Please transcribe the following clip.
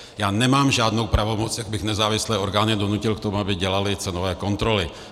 Já nemám žádnou pravomoc, jak bych nezávislé orgány donutil k tomu, aby dělaly cenové kontroly.